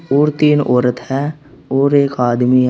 और तीन औरत हैं और एक आदमी है।